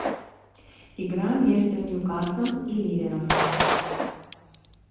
игра между ньюкаслом и ливером